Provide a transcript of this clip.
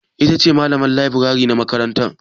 Ita ce malaman leburare na makaranta?